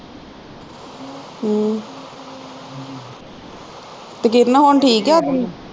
ਹਮ ਤੇ ਕਿਰਨ ਹੁਣ ਠੀਕ ਆ ਆਪਣੀ